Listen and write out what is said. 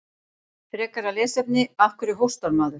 Frekara lesefni: Af hverju hóstar maður?